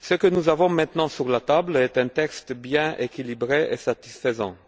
Nous avons maintenant sur la table un texte bien équilibré et satisfaisant.